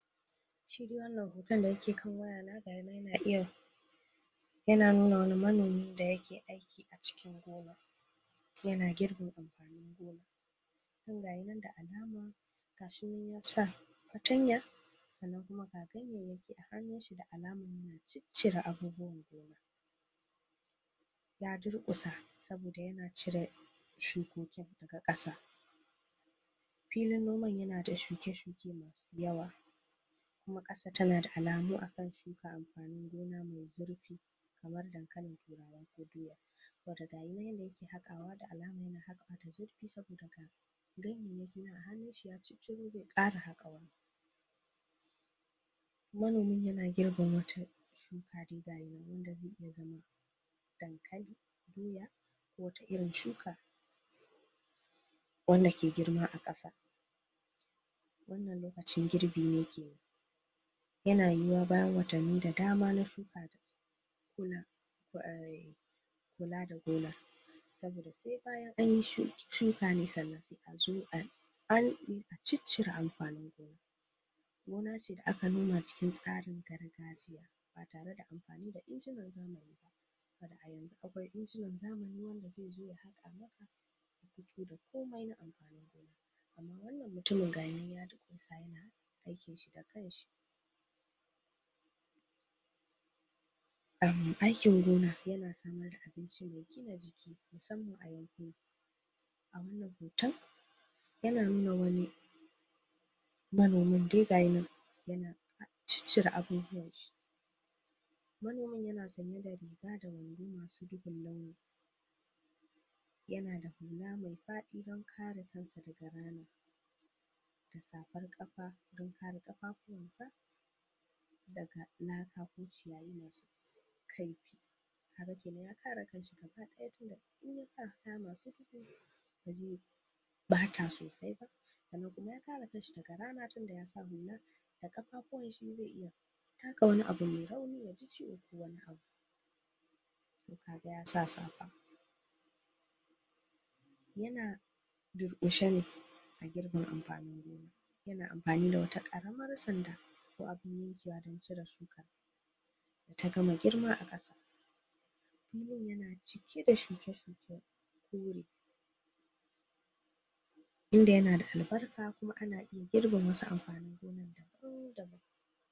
Shi da wannan hoton da yake kan wayana ga ga shi nan yana iya nuna wani manomi da yake aiki a cikin gona, yana girbi amfanin gona ga shi nan da alama. Ga shi nan ya sa fartanya sannan kuma ga ganyayyaki a hannunsa da alamar na ciccire abubuwan gona. Ya durƙusa saboda yana cire shukoki daga ƙasa. Filin noman yana da shuke-shuke masu yawa kuma ƙasar tana da alamun a kan shuka amfanin gona mai zurfi kamar dankalin Turawa ko doya saboda ga shi nan yadda yake haƙawa da alamar yana haƙa abu mai zurfi saboda ga ganyayyaki nan a hannunshi ya cicciɓo zai ƙara haƙawa Manomin yana girbin wata shuka dankali, doya ko wata irin shuka wanda ke girma a ƙasa Wannan lokacin girbi yake yi. Yana yiwuwa bayan watanni da dama na shuka kula da gonar wanda sai bayan an yi shuka ne sannan sai a zo a ciccire amfanin gonar Gona ce da aka noma cikin tsarin gargajiya ba tare da amfani da injinan zamani ba, wanda a yanzu akwai injinan zamani wanda zai zo ya haƙa ma da komai na amfanin gona amma wannan mutumin ga shi nan ya durƙusa yana aikinshi da kanshi Aikin gona yana samar da abinci mai gina jiki musamman a yankuna A wannan hoton yana nuna wani manomin dai ga shi nan dai yana ciccire abubuwanshi Manomin yana zaune da riga da wando masu duhun launi yana da hula mia faɗi don kare kansa daga rana da safar ƙafa don kare ƙafafuwansa daga laka ko ciyayi masu kaifi ke nan ya kare kanshi gaba ɗaya saboda in ya sa kaya masu duhu ba zai ɓata sosai ba sannan kuma ya kare kanshi daga rana tunda ya sa hula da ƙafafuwanshi zai iya taka wani abu mai rauni ya ji ciwo ko wani abu. To ka ga ya sa safa Yana durƙushe ne a girbin amfanin gonar. Yana amfani da wata ƙaramar sanda ko abin yankewa don cire shukar ta gama agirma a ƙasa Filin yana cike da shuke-shuke kore inda yana da albarka kuma ana iya girbe wasu amfanin gonar daban-daban.